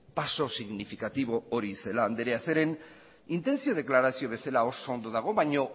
paso significatibo hori celaá andrea zeren intentzio deklarazio bezala oso ondo dago baino